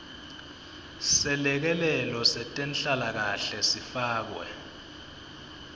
selekelelo setenhlalakanhle sifakwe